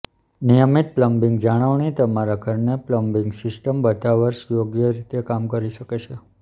નિયમિત પ્લમ્બિંગ જાળવણી તમારા ઘરની પ્લમ્બિંગ સિસ્ટમ બધા વર્ષ યોગ્ય રીતે કામ કરી શકે છે